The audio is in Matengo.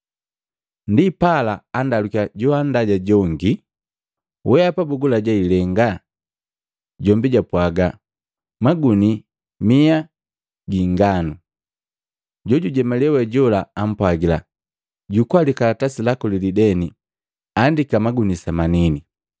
Ndipala andalukiya joandaja jongi, ‘Weapa bugulaja ilenga?’ Jombi japwaga, ‘Maguni mia gi ingano?’ Jojujemalee we jola ampwagila, ‘Jukua likalatasi laku lilideni, andika maguni semanini.’